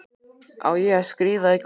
Á ég að skríða í gólfinu?